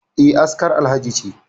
E, askar Alhaji ce